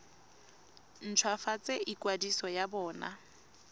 nt hwafatse ikwadiso ya bona